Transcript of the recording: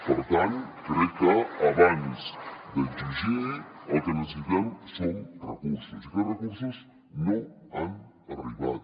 per tant crec que abans d’exigir el que necessitem són recursos i aquests recursos no han arribat